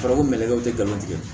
Farafin bɛlɛkɛw tɛ galon tigɛ